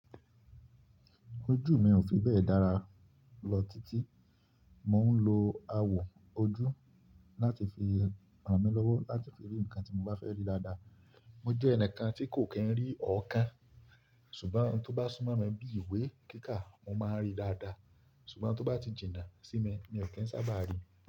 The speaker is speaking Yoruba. Ojú mi ò fi bẹ́ẹ̀ dára lọ títí, mò ń lo awọ ojú láti fi ràn mí lọ́wọ́ láti fi rí nǹkan tí mò bá fẹ́ rí dáadáa. Mo jẹ́ ẹnìkan tí kò kì í rí ọ̀ọ́ kan, ṣùgbọ́n tó bá súnmọ́ mi bí ìwé kíká, mò máa ríi dáadáa. Ṣùgbọ́n tó bá ti jìnnà sí mi o kin sábà ríi.